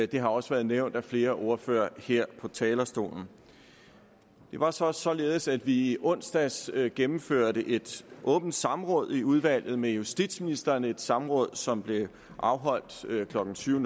det har også været nævnt af flere ordførere her på talerstolen det var så også således at vi i onsdags gennemførte et åbent samråd i udvalget med justitsministeren et samråd som blev afholdt klokken tyve